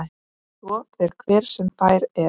Svo fer hver sem fær er.